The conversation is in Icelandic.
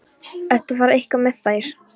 Ertu að fara eitthvað með þær?